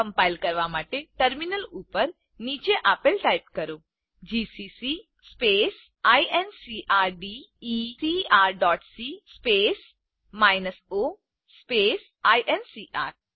compile કરવા માટે terminal ઉપર નીચે આપેલ ટાઇપ કરો જીસીસી incrdecrસી o આઇએનસીઆર